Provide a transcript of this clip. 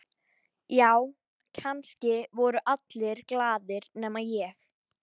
Já, kannski voru allir glaðir nema ég.